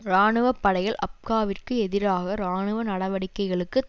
இராணுவ படைகள் அப்காவிற்கு எதிராக இராணுவ நடவடிக்கைகளுக்கு